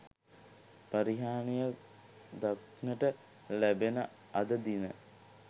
පරිහානියක් දක්නට ලැබෙන අද දින